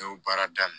Ne y'o baara daminɛ